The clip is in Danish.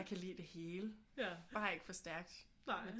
Jeg kan lide det hele bare ikke for stærkt